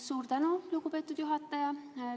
Suur tänu, lugupeetud juhataja!